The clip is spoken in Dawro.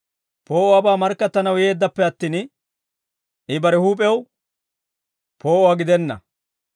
Poo'uwaabaa markkattanaw yeeddappe attin, I bare huup'ew poo'uwaa gidenna.